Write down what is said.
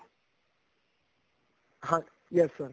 ਹਾਂ yes sir